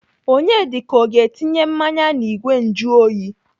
Onyedika ọ ga-etinye mmanya n'igwe njuoyi?